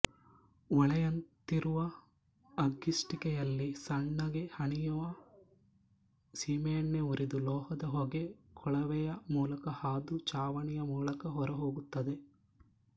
ಒಲೆಯಂತಿರುವ ಅಗ್ಗಿಷ್ಟಿಕೆಯಲ್ಲಿ ಸಣ್ಣಗೆ ಹನಿಯುವ ಸೀಮೆಎಣ್ಣೆ ಉರಿದು ಲೋಹದ ಹೊಗೆ ಕೊಳವೆಯ ಮೂಲಕ ಹಾದು ಚಾವಣಿಯ ಮೂಲಕ ಹೊರಹೋಗುತ್ತದೆ